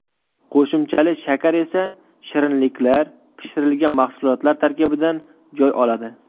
Qo‘shimchali shakar esa shirinliklar, pishirilgan mahsulotlar tarkibidan joy oladi.